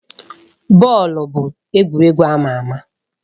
Bọọlụ bụ egwuregwu ama ama.